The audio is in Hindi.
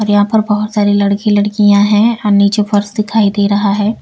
यहां पर बहुत सारे लड़के लड़कियां हैं और नीचे फर्स दिखाई दे रहा है।